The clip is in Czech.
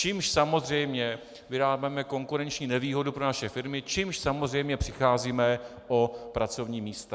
Čímž samozřejmě vyrábíme konkurenční nevýhodu pro naše firmy, čímž samozřejmě přicházíme o pracovní místa.